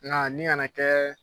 Nga nin ka na kɛ